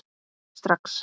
Strax